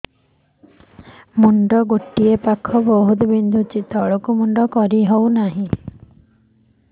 ମୁଣ୍ଡ ଗୋଟିଏ ପାଖ ବହୁତୁ ବିନ୍ଧୁଛି ତଳକୁ ମୁଣ୍ଡ କରି ହଉନି